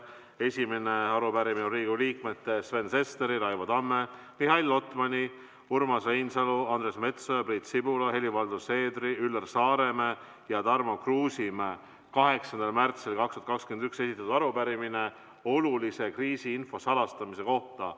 Esimene arupärimine on Riigikogu liikmete Sven Sesteri, Raivo Tamme, Mihhail Lotmani, Urmas Reinsalu, Andres Metsoja, Priit Sibula, Helir-Valdor Seederi, Üllar Saaremäe ja Tarmo Kruusimäe 8. märtsil 2021 esitatud arupärimine olulise kriisiinfo salastamise kohta.